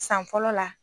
San fɔlɔ la